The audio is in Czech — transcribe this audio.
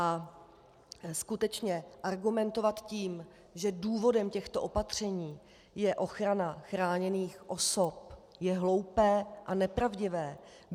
A skutečně argumentovat tím, že důvodem těchto opatření je ochrana chráněných osob, je hloupé a nepravdivé.